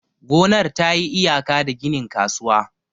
gonar ta yi iyaka da ginin kasuwa.